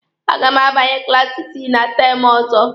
A ga m abanye klaasi isii na teemụ ọzọ.